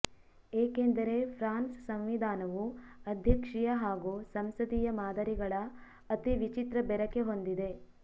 ಏಕೆಂದರೆ ಫ್ರಾನ್ಸ್ ಸಂವಿಧಾನವು ಅಧ್ಯಕ್ಷೀಯ ಹಾಗೂ ಸಂಸದೀಯ ಮಾದರಿಗಳ ಅತಿ ವಿಚಿತ್ರ ಬೆರಕೆ ಹೊಂದಿದೆ